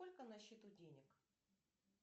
сколько на счету денег